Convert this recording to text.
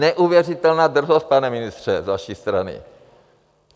Neuvěřitelná drzost, pane ministře, z vaší strany.